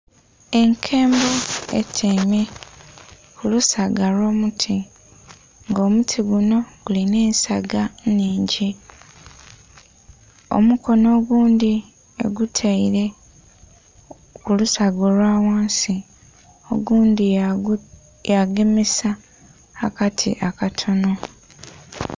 Enkembo etyaime ku lusaga lwo muti nga omuti gunho gulinha ensaga nnhingi. Omukono oghundhi egutaire ku lusaga olwa ghansi oghundhi ya gemesa akati akatonho.